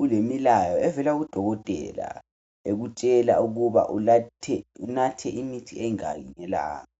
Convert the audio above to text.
ulemilayo evela kudokotela ekutshela ukuba unathe imithi emingaki ngelanga.